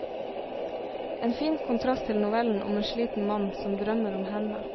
En fin kontrast til novellen om en sliten mann som drømmer om henne.